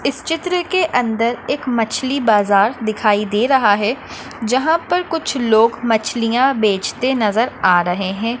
इस चित्र के अंदर मछ्ली बाज़ार दिखाई दे रहा है। जहा पर कुछ लोग मछलिया बेजते नज़र आ रहे है।